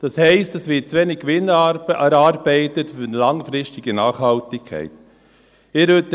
Das heisst, es wird zu wenig Gewinn für eine langfristige Nachhaltigkeit erarbeitet.